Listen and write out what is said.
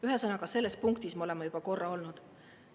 Ühesõnaga, selles punktis me oleme juba korra olnud.